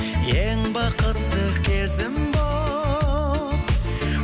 ең бақытты кезім болып